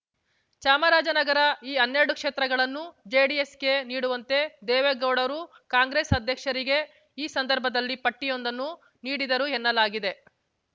ಚಾಮರಾಜನಗರ ಈ ಹನ್ನೆರಡು ಕ್ಷೇತ್ರಗಳನ್ನು ಜೆಡಿಎಸ್‌ಗೆ ನೀಡುವಂತೆ ದೇವೇಗೌಡರು ಕಾಂಗ್ರೆಸ್ ಅಧ್ಯಕ್ಷರಿಗೆ ಈ ಸಂದರ್ಭದಲ್ಲಿ ಪಟ್ಟಿಯೊಂದನ್ನು ನೀಡಿದರು ಎನ್ನಲಾಗಿದೆ